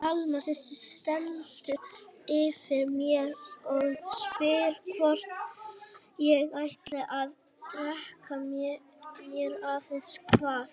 Alma systir stendur yfir mér og spyr hvort ég ætli að drekkja mér eða hvað.